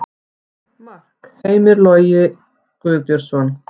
Mark Hamars: Heimir Logi Guðbjörnsson